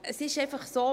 Es ist einfach so: